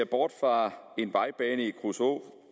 bort fra en vejbane i kruså